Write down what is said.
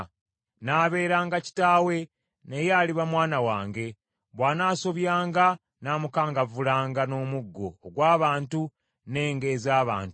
Nnaabeeranga kitaawe, naye aliba mwana wange. Bw’anasobyanga nnaamukangavvulanga n’omuggo ogw’abantu n’enga ez’abantu.